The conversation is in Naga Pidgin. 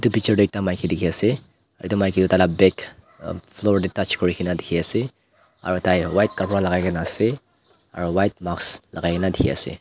etu picture teh ekta maiki dikhi ase etu maiki tai lah bag floor teh touch kuri ke na dikhi ase aru tai white kapra logai ke na ase aru white mask lagai ke na dikhi ase.